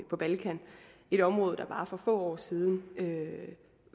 på balkan et område der for bare få år siden